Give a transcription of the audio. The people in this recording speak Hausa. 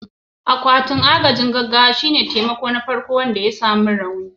Akwatin agajin gaggawa shine magani na farko da ake ba wanda ya samu rauni.